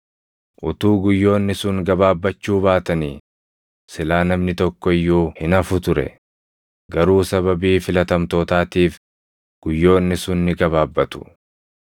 “Utuu guyyoonni sun gabaabbachuu baatanii silaa namni tokko iyyuu hin hafu ture; garuu sababii filatamtootaatiif guyyoonni sun ni gabaabbatu.